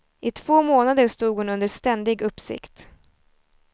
I två månader stod hon under ständig uppsikt.